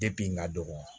Depi n ka dɔgɔn